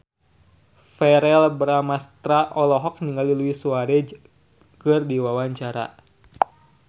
Verrell Bramastra olohok ningali Luis Suarez keur diwawancara